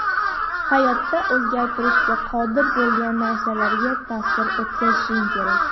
Hayotda o‘zgartirishga qodir bo‘lgan narsalarga ta’sir o‘tkazishing kerak.